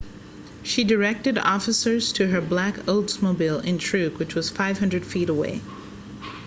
she directed officers to her black oldsmobile intrigue which was 500 feet away